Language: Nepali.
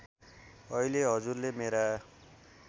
अहिले हजुरले मेरा